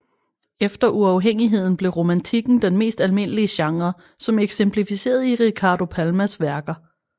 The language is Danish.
Efter uafhængigheden blev romantikken den mest almindelige genre som eksemplificeret i Ricardo Palmas værker